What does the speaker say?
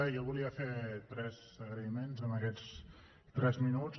jo volia fer tres agraïments en aquests tres minuts